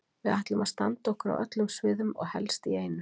Við ætlum að standa okkur á öllum sviðum og helst í einu.